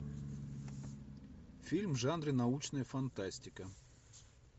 фильм в жанре научная фантастика